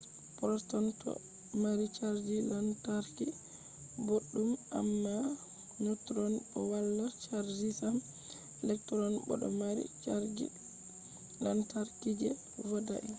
protons do mari chargi lantarki boddum amma neutrons bo wala chargi sam. electrons bo do mari chargi lantarki je vodai